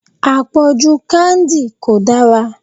Àpọ̀jù candy kò dára.